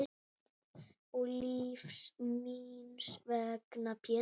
Og lífs míns vegna Pétur.